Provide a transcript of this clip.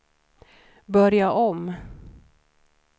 börja om